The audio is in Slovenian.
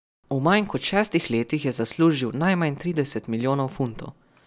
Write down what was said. V manj kot šestih letih je zaslužil najmanj trideset milijonov funtov.